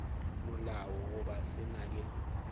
molao goba se na le